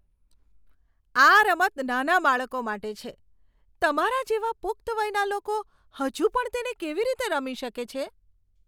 આ રમત નાના બાળકો માટે છે. તમારા જેવા પુખ્ત વયના લોકો હજુ પણ તેને કેવી રીતે રમી શકે છે?